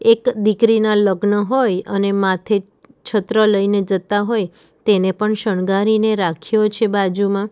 એક દીકરીના લગ્ન હોય અને માથે છત્ર લઈને જતા હોય તેને પણ શણગારીને રાખ્યો છે બાજુમાં.